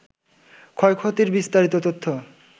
ক্ষয়ক্ষতির বিস্তারিত তথ্য